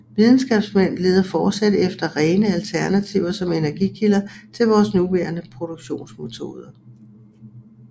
Videnskabsmænd leder fortsat efter rene alternativer som energikilder til vores nuværende produktionsmetoder